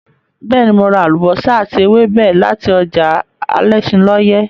Bẹ́ẹ̀ ni, mo ra àlùbọ́sà àti ewébẹ̀ láti ọjà alẹ́ṣinlọ́yẹ́.